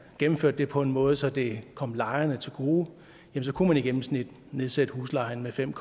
gennemførte det på en måde så det kom lejerne til gode kunne man i gennemsnit nedsætte huslejen med fem